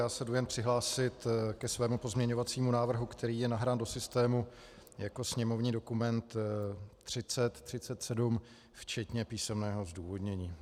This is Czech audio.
Já se jdu jen přihlásit ke svému pozměňovacímu návrhu, který je nahrán do systému jako sněmovní dokument 3037 včetně písemného zdůvodnění.